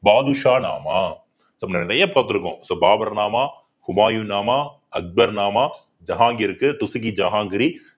பாதுஷா நாமா நிறைய பார்த்திருக்கோம் so Baburnama குபாயு நாமா அக்பர் நாமா ஜஹாங்கிற்கு துசுகி ஜஹாங்கிரி